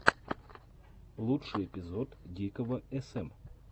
лучший эпизод дикого см